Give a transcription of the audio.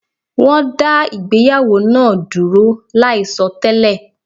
Wọ́n dá ìgbéyàwó náa dúró láì sọ télè